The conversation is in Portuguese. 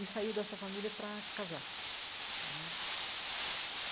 E saiu dessa família para casar né.